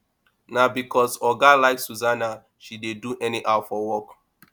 na because oga like susanna she dey do anyhow for work